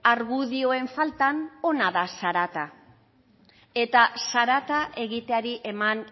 argudioen faltan ona da zarata eta zarata egiteari eman